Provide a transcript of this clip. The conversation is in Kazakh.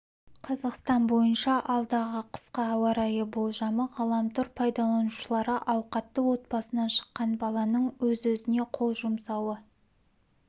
қазақстан бойынша алдағы қысқа ауа райы болжамы ғаламтор пайдаланушылары ауқатты отбасынан шыққан баланың өз-өзіне қол жұмсауы